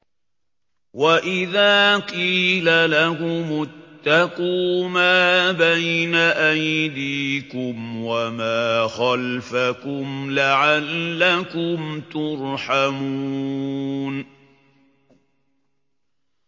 وَإِذَا قِيلَ لَهُمُ اتَّقُوا مَا بَيْنَ أَيْدِيكُمْ وَمَا خَلْفَكُمْ لَعَلَّكُمْ تُرْحَمُونَ